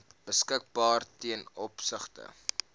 beskikbaar ten opsigte